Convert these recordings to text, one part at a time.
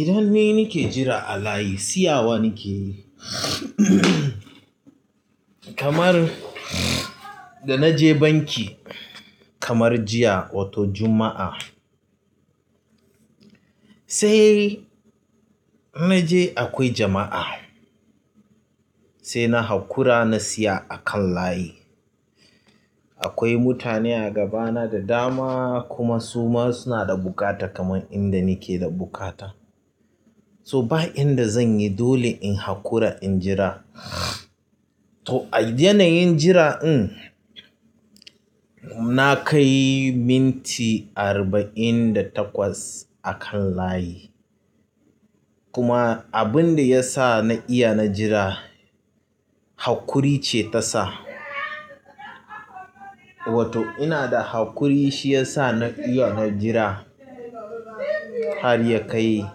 Idan ni ni ke jira a layi, siyawa ni ke yi kamar da naje banki kamar jiya wato Juma'a. Sai naje akwai jama'a, sai na haƙura na siya akan layi. Akwai mutane a gabana da dama kuma su ma suna da buƙata kamar inda nike da buƙata. So ba inda zanyi dole in haƙura in jira. To a yanayin jira ɗin, na kai minti arba'in da takwas akan layi. Kuma abunda ya sa na iya na jira haƙuri ce ta sa. Wato ina da haƙuri shi ya sa na iya na jira har ya kai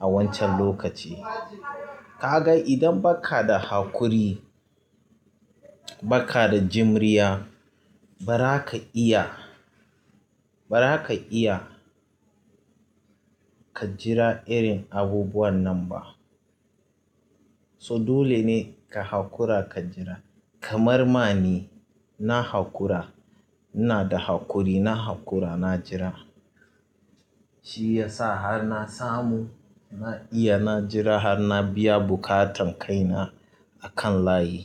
a wancan lokaci. Ka ga idan baka da haƙuri, baka da jimriya, ba za ka iya, ba za ka iya ka jira irin abubuwan nan ba. So dole ne ka haƙura ka jira. Kamar ma ni, na haƙura. In na da haƙuri na haƙura na jira. Shi ya sa har na samu, na iya na jira har na biya buƙatan kaina akan layi.